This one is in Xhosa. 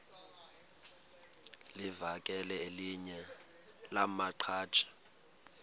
livakele elinye lamaqhaji